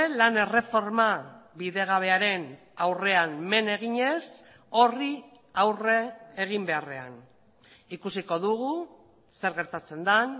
lan erreforma bidegabearen aurrean men eginez horri aurre egin beharrean ikusiko dugu zer gertatzen den